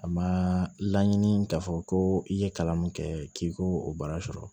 A ma laɲini k'a fɔ ko i ye kalan min kɛ k'i k'o o baara sɔrɔ